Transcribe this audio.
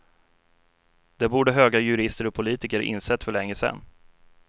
Det borde höga jurister och politiker insett för länge sedan.